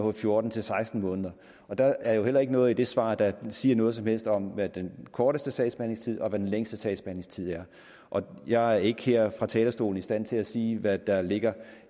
er fjorten til seksten måneder der er jo heller ikke noget af det svar der siger noget som helst om hvad den korteste sagsbehandlingstid og hvad den længste sagsbehandlingstid er og jeg er ikke her fra talerstolen i stand til sige hvad der ligger